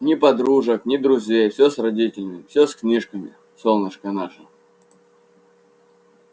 ни подружек ни друзей всё с родителями всё с книжками солнышко наше